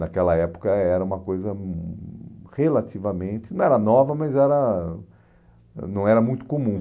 Naquela época era uma coisa hum relativamente... Não era nova, mas era hum não era muito comum.